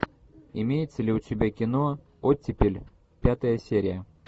имеется ли у тебя кино оттепель пятая серия